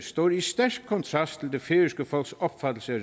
står i stærk kontrast til det færøske folks opfattelse af